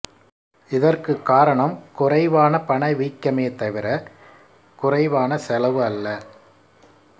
இதற்கு காரணம் குறைவான பணவீக்கமே தவிர குறைவான செலவு அல்ல